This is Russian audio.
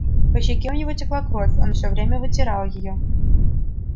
по щеке у него текла кровь он всё время вытирал её